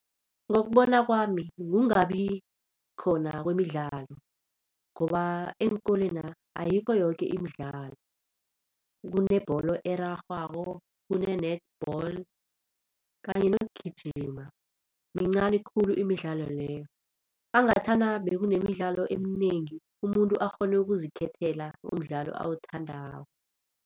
Ngokubona kwami, kungabi khona kwemidlalo ngoba eenkolwena ayikho yoke imidlalo. Kunebholo erarhwako, kune-netball kanye nokugijima mincani khulu imidlalo leyo angathana bekunemidlalo eminengi, umuntu akghone ukuzikhethela umdlalo awuthandako.